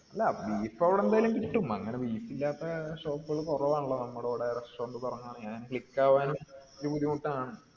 അല്ല beef അവിടെ എന്തായാലും കിട്ടും അങ്ങനെ beef ഇല്ലാത്ത shop കൾ കുറവാണല്ലോ നമ്മടെ ഇവിടെ restaurant തുടങ്ങണെങ്കിൽ click ആവാനും കുറച്ചു ബുദ്ധിമുട്ടാണ്